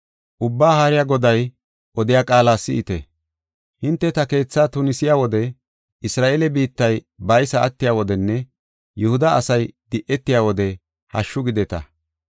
Ubbaa Haariya Goday odiya qaala si7ite. Hinte ta keetha tunisiya wode, Isra7eele biittay baysa attiya wodenne Yihuda asay di7etiya wode hashshu gideta.